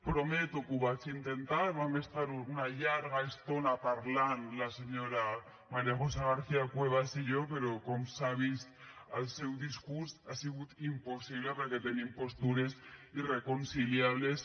prometo que ho vaig intentar vam estar una llarga estona parlant la senyora maría josé garcía cuevas i jo però com s’ha vist al seu discurs ha sigut impossible perquè tenim postures irreconciliables